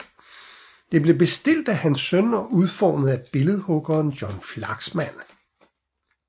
Det blev bestilt af hans søn og udformet af billedhuggeren John Flaxman